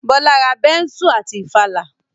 Bọ́lá ra bẹ́nsù àti ìfàlà